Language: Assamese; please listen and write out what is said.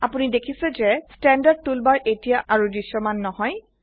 আপোনি দেখিছে যে স্ট্যান্ডাৰ্ড টুলবাৰ এতিয়া আৰু দৃশ্যমান নহয়